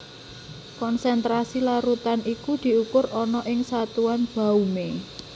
Konsentrasi larutan iku diukur ana ing satuan baumé